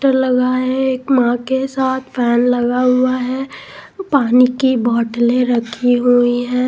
लगा है मां के साथ फैन लगा हुआ है पानी की बोतलें रखी हुई है.